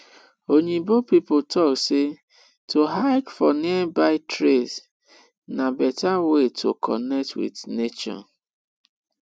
oyibo pipo talk sey to hike for nearby trails na better way to connect with nature